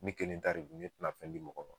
Ne kelen tare don ne tina fɛn di mɔgɔ ma